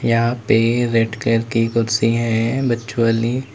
यहां पे red colour की कुर्सी है बच्चों वाली।